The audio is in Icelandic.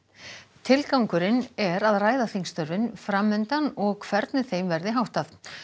tilgangurinn er að ræða þingstörfin fram undan og hvernig þeim verði háttað